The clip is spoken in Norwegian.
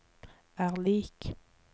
er lik